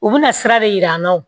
U bɛna sira de jir'an na